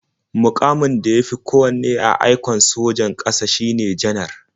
Muƙamin da ya fi kowanne a aikon sojan ƙasa shine Janar.